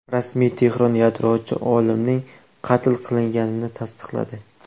Rasmiy Tehron yadrochi olimning qatl qilinganini tasdiqladi.